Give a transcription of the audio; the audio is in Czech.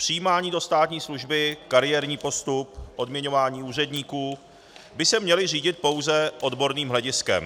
Přijímání do státní služby, kariérní postup, odměňování úředníků by se měly řídit pouze odborným hlediskem.